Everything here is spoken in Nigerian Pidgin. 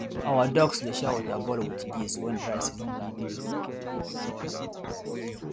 our ducks dey share water bowl with geese when dry season land